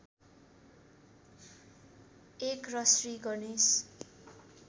१ र श्री गणेश